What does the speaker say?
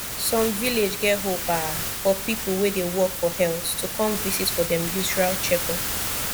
some village get hope ah for people wey dey work for health to come visit for dem usual checkup